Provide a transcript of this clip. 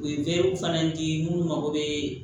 U ye weele fana di munnu ma ko bee